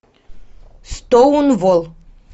стоунволл